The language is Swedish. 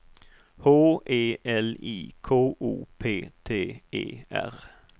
H E L I K O P T E R